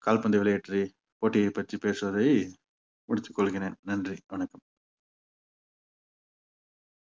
கால்பந்து போட்டியைப் பற்றி பேசுவதை முடித்துக் கொள்கிறேன் நன்றி வணக்கம்